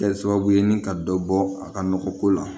Kɛ sababu ye ni ka dɔ bɔ a ka nɔgɔ ko la